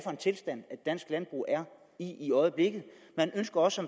i i øjeblikket man ønsker også